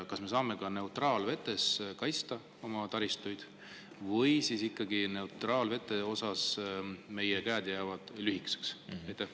Kas me saame ka neutraalvetes oma taristut kaitsta või jäävad seal meie käed lühikeseks?